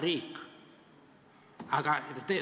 Riik ei saa ära võtta.